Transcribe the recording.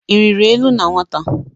Ị rịrị enu na nwata?